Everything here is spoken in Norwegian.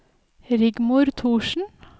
Rigmor Thorsen